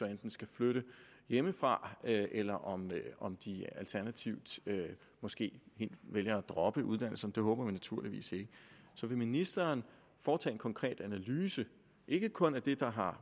enten skal flytte hjemmefra eller om om de alternativt måske helt vælger at droppe uddannelsen men det håber vi naturligvis ikke så vil ministeren foretage en konkret analyse ikke kun af det der har